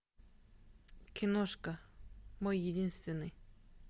киношка мой единственный